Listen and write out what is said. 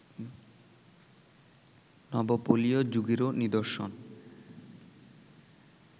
নবপলীয় যুগেরও নিদর্শন